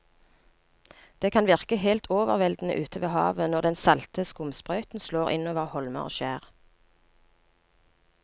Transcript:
Det kan virke helt overveldende ute ved havet når den salte skumsprøyten slår innover holmer og skjær.